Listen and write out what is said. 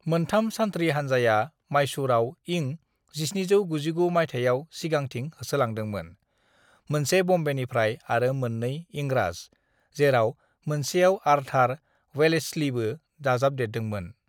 "मोनथाम सानथ्रि हान्जाया माइसुरआव इं 1799 माइथायाव सिगांथिं होसोलांदोंमोन, मोनसे ब'म्बेनिफ्राय आरो मोननै इंराज, जेराव मोनसेयाव आर्थार वेलेस्लिबो दाजाबदरेदोंमोन।"